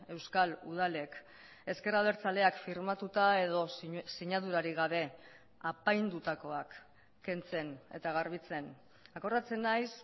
euskal udalek ezker abertzaleak firmatuta edo sinadurarik gabe apaindutakoak kentzen eta garbitzen akordatzen naiz